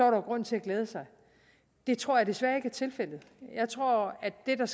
jo grund til at glæde sig det tror jeg desværre ikke er tilfældet jeg tror at det der